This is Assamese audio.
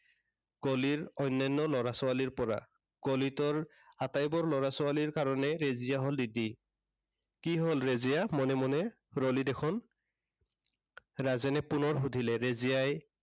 গলিৰ অন্য়ান্য় ল'ৰা-ছোৱালীৰ পৰা। গলিটোৰ আটাইবোৰ ল'ৰা-ছোৱালীৰ কাৰনে ৰেজিয়া হ'ল দিদি। কি হ'ল ৰেজিয়া মনে মনে ৰ'লি দেখোন। ৰাজেনে পুনৰ সুধিলে। ৰেজিয়াই